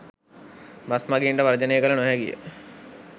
bus මගීන්ට වර්ජනය කළ නොහැකිය